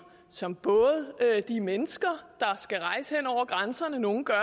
som både de mennesker der skal rejse hen over grænserne nogle gør